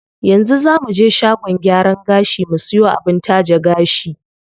Yanzu zaa muje shagon gyaran gashi mu siyo abin taje gashi.